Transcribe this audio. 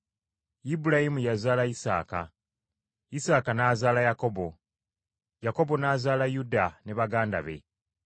Ibulayimu yazaala Isaaka, Isaaka n’azaala Yakobo, Yakobo n’azaala Yuda ne baganda be.